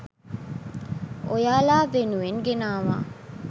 ඔයාලා වෙනුවෙන් ගෙනාවා